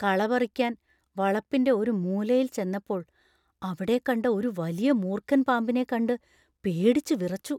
കള പറിക്കാൻ വളപ്പിന്‍റെ ഒരു മൂലയിൽ ചെന്നപ്പോൾ അവിടെ കണ്ട ഒരു വലിയ മൂർഖൻ പാമ്പിനെ കണ്ട് പേടിച്ച് വിറച്ചു.